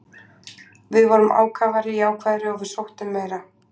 Við vorum ákafari, jákvæðari og við sóttum meira.